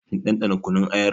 Kin ɗanɗana kunun ayar?